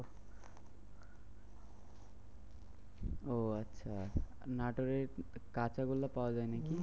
ও আচ্ছা নাটোরের কাঁচাগোল্লা পাওয়া যায় নাকি?